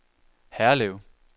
Herlev